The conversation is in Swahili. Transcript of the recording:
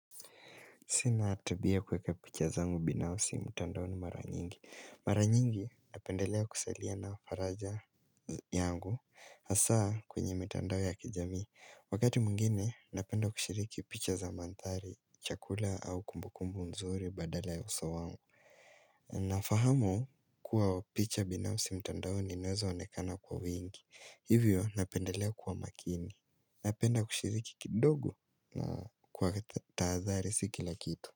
Sina tabia ya kueka picha zangu binafsi mtandaoni mara nyingi Mara nyingi napendelea kusalia na faraja yangu Hasa kwenye mitandao ya kijamii Wakati mwingine napenda kushiriki picha za mandhari Chakula au kumbukumbu nzuri badala ya uso wangu Nafahamu kuwa picha binafsi mtandaoni naeza onekana kwa wingi Hivyo napendelea kuwa makini Napenda kushiriki kidogo kwa tahadhari si kila kitu.